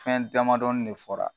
Fɛn damadɔni ne fɔra